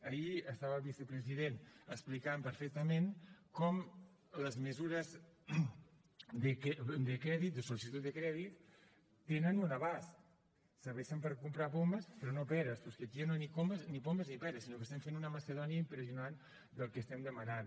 ahir estava el vicepresident explicant perfectament com les mesures de crèdit de sol·licitud de crèdit tenen un abast serveixen per comprar pomes però no peres però és que aquí ni pomes ni peres sinó que estem fent una macedònia impressionant del que estem demanant